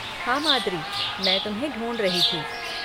हाँ माद्रि, मैं तुम्हें ढूँढ रही थी।